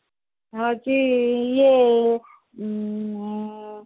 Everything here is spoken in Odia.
ହଉଛି ଇଏ ଉଁ ହଁ